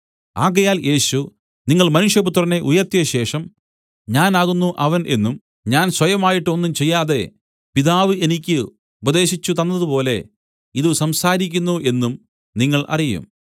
ആകയാൽ യേശു നിങ്ങൾ മനുഷ്യപുത്രനെ ഉയർത്തിയശേഷം ഞാൻ ആകുന്നു അവൻ എന്നും ഞാൻ സ്വയമായിട്ട് ഒന്നും ചെയ്യാതെ പിതാവ് എനിക്ക് ഉപദേശിച്ചുതന്നതുപോലെ ഇതു സംസാരിക്കുന്നു എന്നും നിങ്ങൾ അറിയും